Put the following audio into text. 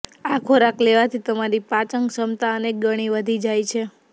આ ખોરાક લેવાથી તમારી પાચનક્ષમતા અનેક ગણી વધી જાય છે